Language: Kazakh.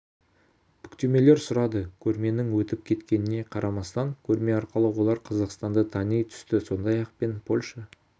бүктемелер сұрады көрменің өтіп кеткеніне қарамастан көрме арқылы олар қазақстанды тани түсті сондай-ақ мен польша